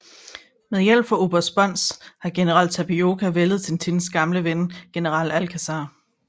Med hjælp fra oberst Sponz har general Tapioca væltet Tintins gamle ven general Alcazar